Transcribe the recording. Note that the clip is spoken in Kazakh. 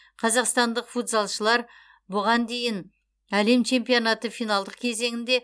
қазақстандық футзалшылар бұған дейін әлем чемпионаты финалдық кезеңінде